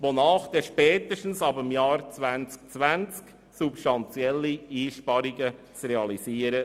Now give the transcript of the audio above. Demnach seien spätestens ab dem Jahr 2020 substantielle Einsparungen zu realisieren.